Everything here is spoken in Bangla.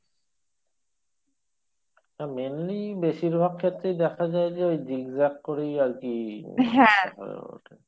হ্যাঁ mainly বেশিরভাগ ক্ষেত্রেই দেখা যাই যে এই zigzag করেই আরকি হয়ে ওঠে